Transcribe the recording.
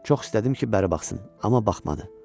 Çox istədim ki, bəri baxsın, amma baxmadı.